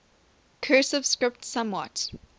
cursive script somewhat